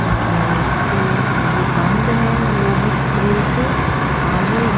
और इसके ये बंद है लोहे की ग्रिल से आगे--